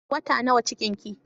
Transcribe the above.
Wata nawa cikin ki?